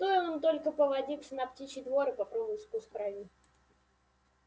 стоил им только повадиться на птичий двор и попробовать вкус крови